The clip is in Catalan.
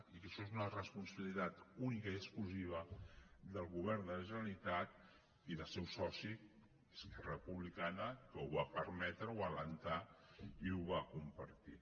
i això és una responsabilitat única i exclusiva del govern de la ge·neralitat i del seu soci esquerra republicana que ho va permetre ho va alentar i ho va compartir